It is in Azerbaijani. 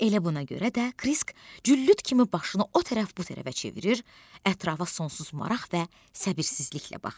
Elə buna görə də Krisk güllüt kimi başını o tərəf bu tərəfə çevirir, ətrafa sonsuz maraq və səbirsizliklə baxırdı.